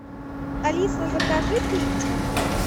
алиса закажи пиццу